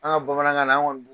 An ka bamanankan na, anw kɔni